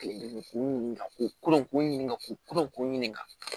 Kelen k'u ɲininka k'u koron k'u ɲininka k'u ɲininka